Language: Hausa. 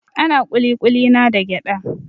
Ana kulikuli na da gyada.